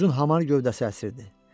Uzun hamar gövdəsi əsirdi.